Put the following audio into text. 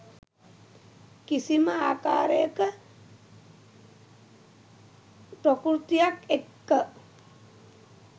කිසිම ආකාරයක ප්‍රකෘතියක් එක්ක.